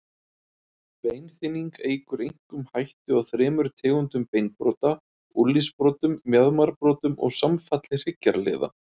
Beinþynning eykur einkum hættu á þremur tegundum beinbrota, úlnliðsbrotum, mjaðmarbrotum og samfalli hryggjarliða.